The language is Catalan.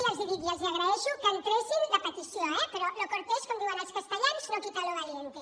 i ja els ho dic els agraeixo que entressin la petició eh però lo cortés com diuen els castellans no quita lo valiente